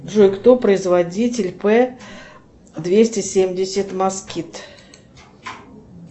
джой кто производитель п двести семьдесят москит